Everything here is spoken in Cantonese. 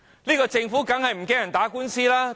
這個政府怎會害怕打官司？